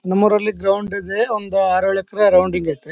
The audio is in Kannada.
ನಮ್ ಊರಲ್ಲಿ ಗ್ರಾಂಡ್ ಇದೆ ಒಂದು ಆರ್ ಏಳು ಎಕರೆ ಗ್ರೌಂಡ್ ಐತೆ.